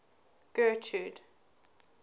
getrude